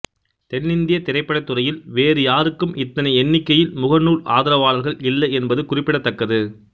தென்னிந்திய திரைப்படத்துறையில் வேறு யாருக்கும் இத்தனை எண்ணிக்கையில் முகநூல் ஆதராவாளர்கள் இல்லை என்பது குறிப்பிடத்தக்கது